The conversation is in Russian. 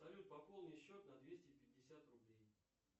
салют пополни счет на двести пятьдесят рублей